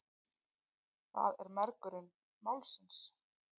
Það er mergurinn málsins.